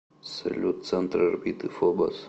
салют центр орбиты фобос